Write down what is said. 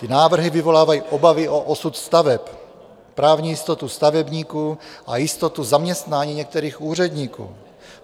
Ty návrhy vyvolávají obavy o osud staveb, právní jistotu stavebníků a jistotu zaměstnání některých úředníků.